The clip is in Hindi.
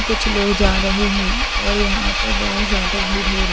कुछ लोग जा रहे हैं और यहां पर बहुत ज्यादा भर हो रही है।